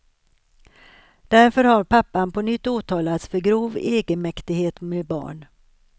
Därför har pappan på nytt åtalats för grov egenmäktighet med barn.